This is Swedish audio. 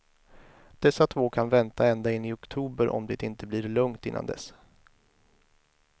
Dessa två kan vänta ända in i oktober om det inte blir lugnt innan dess.